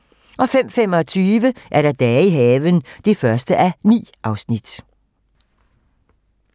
05:25: Dage i haven (1:9)